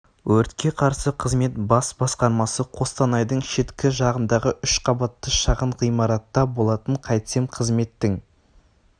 өртке қарсы қызмет бас басқармасы қостанайдың шеткі жағындағы үш қабатты шағын ғимаратта болатын қайтсем қызметтің